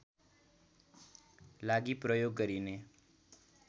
लागि प्रयोग गरिने